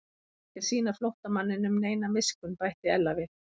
Hún ætlar ekki að sýna flóttamanninum neina miskunn bætti Ella við.